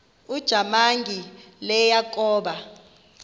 ujamangi le yakoba